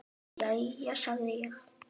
Jæja, sagði ég.